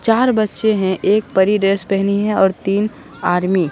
चार बच्चे हैं एक परी ड्रेस पहनी है और तीन आर्मी ।